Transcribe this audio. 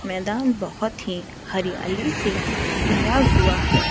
मैदान बहोत ही हरियाली से भरा हुआ है।